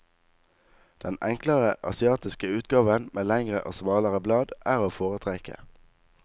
Den enklere asiatiske utgaven, med lengre og smalere blad, er å foretrekke.